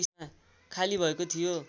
खाली भएको थियो